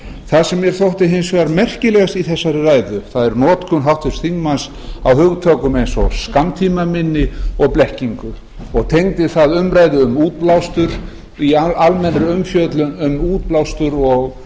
það sem mér þótti hins vegar merkilegast í þessari ræðu er notkun háttvirts þingmanns á hugtökum eins og skammtímaminni og blekkingu og tengdi það umræðu um útblástur í almennri umfjöllun um útblástur